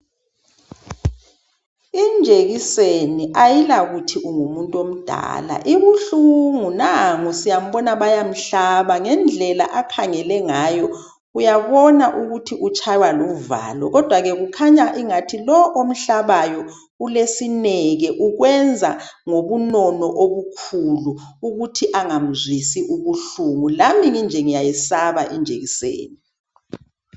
Injekiseni ayilakuthi ungumuntu omdala, ibuhlungu. Nangu siyambona bayamhlaba ngendlela akhangele ngayo uyambona ukuthi utshaywa luvalo. Kodwa ke kukhanya ingathi lo omhlabayo ulesineke. Ukwenza ngobunono obukhulu ukuthi angamzwisi ubuhlungu. Lami nginje ngiyaye saba injekiseni.